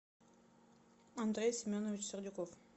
андрей семенович сердюков